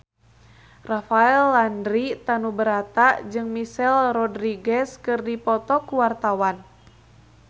Rafael Landry Tanubrata jeung Michelle Rodriguez keur dipoto ku wartawan